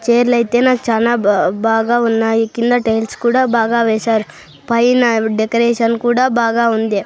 చేర్లైతే నాకు చానా బా బాగా ఉన్నాయి కింద టైల్స్ కూడా బాగా వేశారు పైన డెకరేషన్ కూడా బాగా ఉంది.